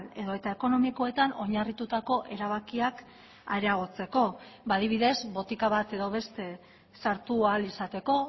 edota ekonomikoetan oinarritutako erabakiak areagotzeko adibidez botika bat edo beste sartu ahal izateko